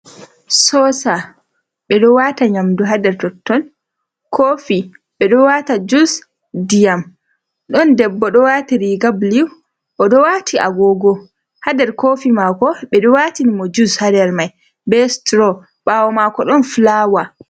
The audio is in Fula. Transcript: Tsosa ɓeɗo nyandu hander totton, kofi ɓeɗo wata jus diyam, ɗon debbo ɗo wati riga bulu, oɗo wati a gogo ha nder kofi mako ɓeɗo watini mo jus nder mai, be suturo, ɓawo mako ɗon filawa